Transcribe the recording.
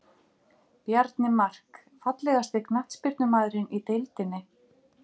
Bjarni Mark Fallegasti knattspyrnumaðurinn í deildinni?